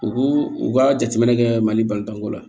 U k'u ka jateminɛ kɛ mali bantanko la